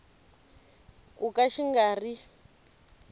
ku ka xi nga ri